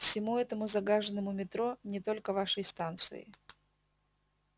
всему этому загаженному метро не только вашей станции